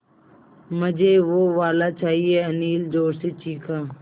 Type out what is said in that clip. मझे वो वाला चाहिए अनिल ज़ोर से चीख़ा